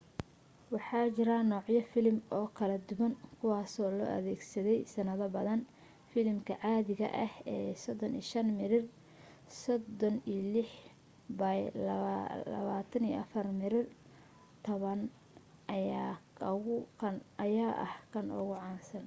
waxa jira noocyo filim oo kala duwan kuwaasoo la adeegsaday sannado badan. filimka caadiga ah ee 35 mm 36 by 24 mm taban ayaana ah ka ugu caansan